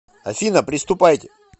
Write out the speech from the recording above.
афина приступайте